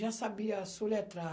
Já sabia soletrar.